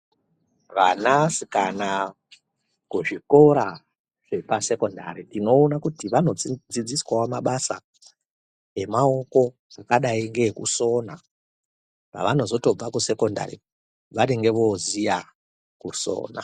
Vanasikana kuzvikora zvepasekondari tinoona kuti vanodzidziswawo mabasa emaoko zvakadai ngeekusona. Pavanozotobva kusekondai vanenge voziya kusona.